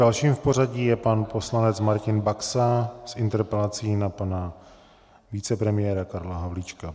Dalším v pořadí je pan poslanec Martin Baxa s interpelací na pana vicepremiéra Karla Havlíčka.